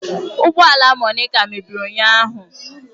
Ụgbọ ala Monica mebiri ụnyahụ